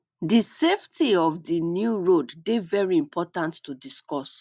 di safety of di new road de very important to discuss